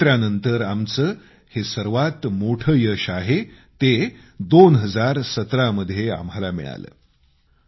स्वातंत्र्यानंतर आमचं हे सर्वात मोठं यश आहे ते 2017मध्ये आम्हाला मिळालं